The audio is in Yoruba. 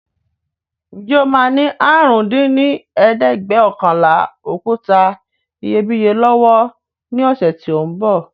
Ǹjẹ́ o máa ní àrún dín ní ẹ̀ẹ́dẹ́gbẹ́ọ̀kànlá òkúta iyebíye lọ́wọ́ ní ọ̀sẹ̀ tí ó ń bọ̀